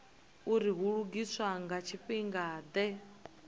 uri hu lugiswa nga tshifhingade